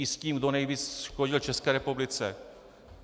I s tím, kdo nejvíc škodil České republice.